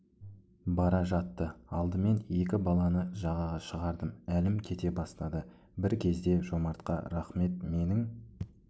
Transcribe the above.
бара жатты алдымен екі баланы жаға шығардым әлім кете бастады бірк езде жомартқа рахмет менің